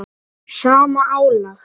sama álag?